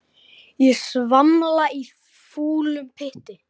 Ég svamla í fúlum pytti.